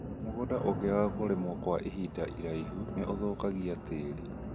Mũgũnda ũngĩaga kũrĩmwo kwa ihinda iraihu nĩ ũthũkagia tĩri